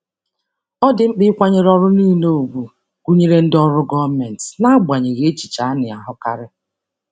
Ọ dị mkpa ịkwanyere ọrụ niile ùgwù, gụnyere ndị ọrụ gọọmentị, n'agbanyeghị echiche a na-ahụkarị.